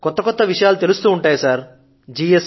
కొత్త కొత్త విషయాలు తెలుస్తూ ఉంటాయి సర్